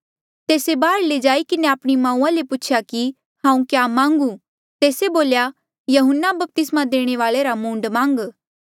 तेस्से बाहर जाई किन्हें आपणी माऊआ ले पूछेया कि हांऊँ क्या मांगू तेस्से बोल्या यहून्ना बपतिस्मा देणे वाल्ऐ रा मूंड मांग